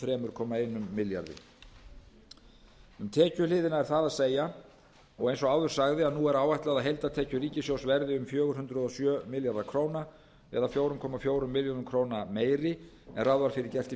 komma einum milljarði króna um tekjuhliðina er það að segja og eins og áður sagði er nú áætlað að heildartekjur ríkissjóðs verði um fjögur hundruð og sjö milljarðar króna eða fjögur komma fjórum milljörðum króna meiri en ráð var fyrir gert í